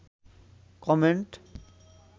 comment